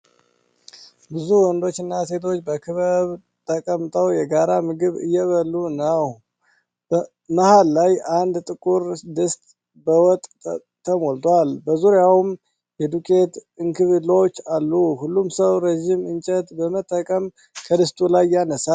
ብዙ ወንዶችና ሴቶች በክበብ ተቀምጠው የጋራ ምግብ እየበሉ ነው። መሃል ላይ አንድ ጥቁር ድስት በወጥ ተሞልቷል፣ በዙሪያውም የዱቄት እንክብሎች አሉ። ሁሉም ሰው ረጅም እንጨት በመጠቀም ከድስቱ ላይ ያነሳል።